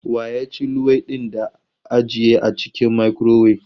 Wa ya ci luwaiɗin da ajiye a cikin makurowef?